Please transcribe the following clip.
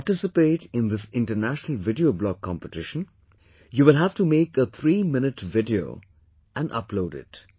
To participate in this International Video Blog competition, you will have to make a threeminute video and upload it